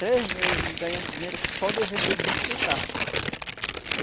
Três meses de, ganhando dinheiro só de vender bicho de casco.